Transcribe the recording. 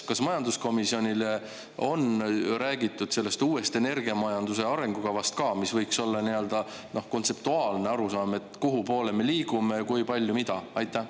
Kas majanduskomisjonile on räägitud sellest uuest energiamajanduse arengukavast ka, mis võiks olla nii-öelda kontseptuaalne arusaam, et kuhu poole me liigume, kui palju, mida?